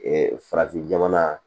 farafin jamana